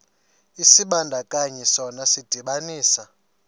isibandakanyi sona sidibanisa